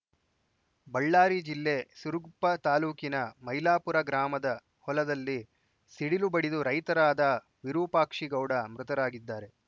ಬಳ್ಳಾರಿ ಜಿಲ್ಲೆ ಸಿರುಗುಪ್ಪ ತಾಲೂಕಿನ ಮೈಲಾಪುರ ಗ್ರಾಮದ ಹೊಲದಲ್ಲಿ ಸಿಡಿಲು ಬಡಿದು ರೈತರಾದ ವಿರುಪಾಕ್ಷಿಗೌಡ ಮೃತರಾಗಿದ್ದಾರೆ